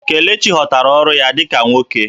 Kelechi ghọtara ọrụ ya dị ka nwoke